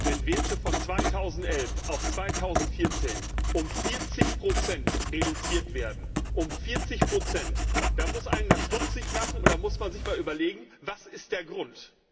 Wenn Werte von 2011 auf 2014 um 40 reduziert werden um 40 dann muss einen das stutzig machen. Da muss man sich mal überlegen Was ist der Grund?